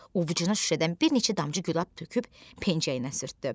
Ovucuna şüşədən bir neçə damcı gülab töküb pencəyinə sürtdü.